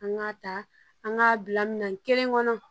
An k'a ta an k'a bila minan kelen kɔnɔ